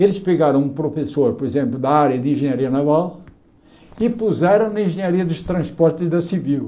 Eles pegaram um professor, por exemplo, da área de engenharia naval e puseram na engenharia dos transportes da civil.